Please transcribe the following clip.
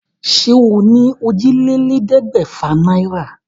Ṣé o ní òjìlélẹ́ẹ̀ẹ́dẹ́gbẹ́fà náírà?